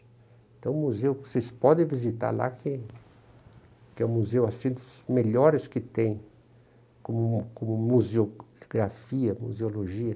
Então, o museu, vocês podem visitar lá, que que é o museu assim dos melhores que tem, com com museografia, museologia.